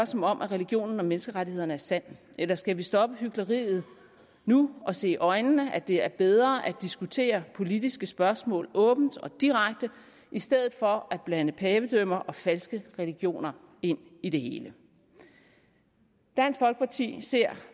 som om religionen om menneskerettighederne er sand eller skal vi stoppe hykleriet nu og se i øjnene at det er bedre at diskutere politiske spørgsmål åbent og direkte i stedet for at blande pavedømmer og falske religioner ind i det hele dansk folkeparti ser